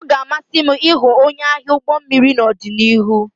Ọ ga-amasị m ịghọ onye agha ụgbọ mmiri n'ọdịnihu